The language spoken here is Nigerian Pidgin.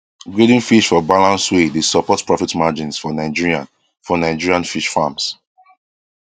grading fish for balance way dey support profit margins for nigerian for nigerian fish farms